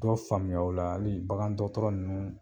Dɔw faamuya o la ali bagan dɔgɔtɔrɔ ninnu